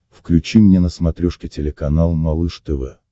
включи мне на смотрешке телеканал малыш тв